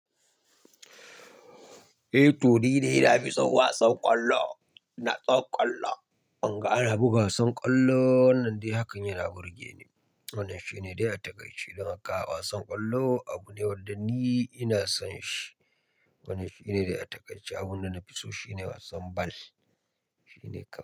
Eh, to dai na fi son wasan kwallo, na tsofon kwallo. In ga ana buga wasan kwallo wannan dai hakan yana burge ni. Wannan shine dai a takaice don haka wasan kwallo abu ne wanda ni ina son shi. Wannan shine dai a takai she abun da na fi so shine wasan ball. Shi ne kawai.